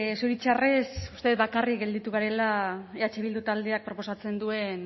zoritxarrez uste dut bakarrik gelditu garela eh bildu taldeak proposatzen duen